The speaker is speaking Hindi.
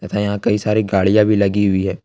तथा यहां कई सारी गाड़ियां भी लगी हुई है।